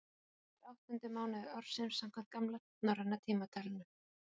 skerpla er áttundi mánuður ársins samkvæmt gamla norræna tímatalinu